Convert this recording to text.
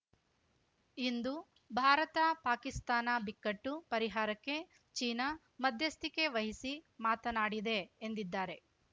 ಇಂದು ಭಾರತ ಪಾಕಿಸ್ತಾನ ಬಿಕ್ಕಟ್ಟು ಪರಿಹಾರಕ್ಕೆ ಚೀನಾ ಮಧ್ಯಸ್ತಿಕೆ ವಹಿಸಿ ಮಾತನಾಡಿದೆ ಎಂದಿದ್ದಾರೆ